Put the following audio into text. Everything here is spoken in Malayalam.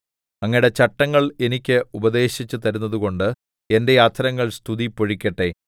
അങ്ങയുടെ ചട്ടങ്ങൾ എനിക്ക് ഉപദേശിച്ചുതരുന്നതുകൊണ്ട് എന്റെ അധരങ്ങൾ സ്തുതി പൊഴിക്കട്ടെ